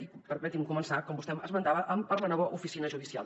i permeti’m començar com vostè esmentava per la nova oficina judicial